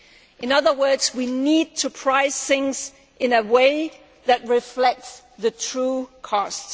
In other words, we need to price things in a way that reflects the true costs.